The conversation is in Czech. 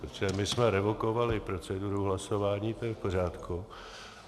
Protože my jsme revokovali proceduru hlasování, to je v pořádku.